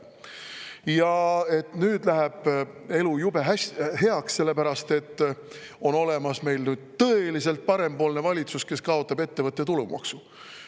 Ja et nüüd läheb elu jube heaks, sellepärast et meil on tõeliselt parempoolne valitsus, kes kaotab ettevõtte maksu.